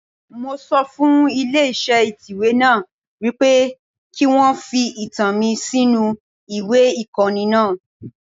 Máa sọ fún ilé iṣẹ́ ìtẹ̀wé náà wípé kí wọn fi ìtàn mi sínú ìwé ìkọ́ni wọn.